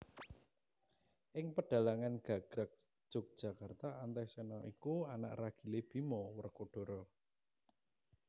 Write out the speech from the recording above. Ing pedhalangan gagrag Jogjakarta Antaséna iku anak ragilé Bima Werkodara